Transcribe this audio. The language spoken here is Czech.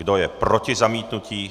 Kdo je proti zamítnutí?